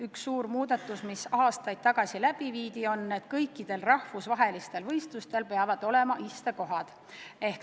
Üks suur muudatus, mis aastaid tagasi läbi viidi, on, et kõikidel rahvusvahelistel võistlustel peavad olema istekohad.